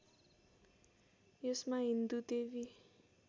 यसमा हिन्दू देवी